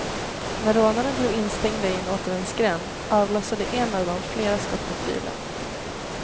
När rånarna blev instängda i en återvändsgränd, avlossade en av dem flera skott mot bilen.